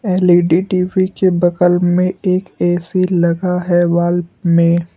L E D TV के बगल में एक ए_सी लगा है वॉल में।